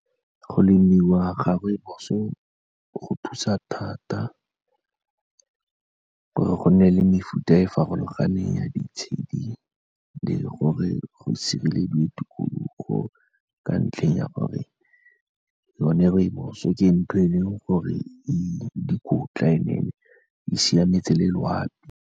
Go lemiwa ga rooibos-o go thusa thata gore go nne le mefuta e farologaneng ya ditshedi, le gore go sirelediwe tikologo ka ntlheng ya gore yone rooibos-o ke ntho e leng gore e dikotla and-e e siametse le loapi.